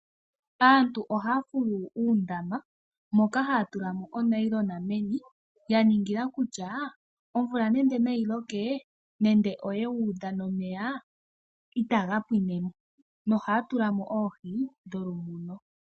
Aantu ohaya fulu uundama moka haya tulamo onayilona meni yaningila kutya omvula nenge nayi loke nenge oyewu udha nomeya itaga pwinemo nohaya tulamo oohi dholumuno.